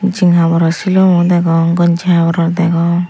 jing haboror silumo degong gongji haboror degong.